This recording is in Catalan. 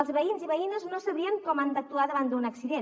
els veïns i veïnes no sabrien com han d’actuar davant d’un accident